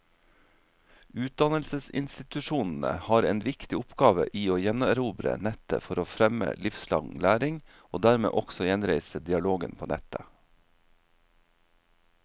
Utdannelsesinstitusjonene har en viktig oppgave i å gjenerobre nettet for å fremme livslang læring, og dermed også gjenreise dialogen på nettet.